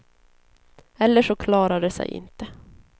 Eller så klarar det sig inte.